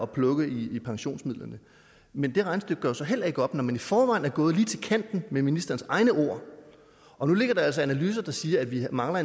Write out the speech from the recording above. plukke i pensionsmidlerne men det regnestykke går jo så heller ikke op når man i forvejen er gået lige til kanten med ministerens egne ord og nu ligger der altså analyser der siger at vi mangler